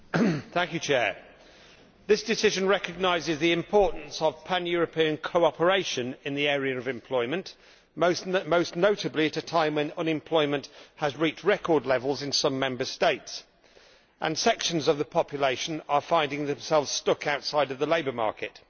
Mr President, this decision recognises the importance of pan European cooperation in the area of employment, most notably at a time when unemployment has reached record levels in some Member States, and sections of the population are finding themselves stuck outside the labour market.